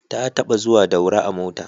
Ta taɓa zuwa Daura a mota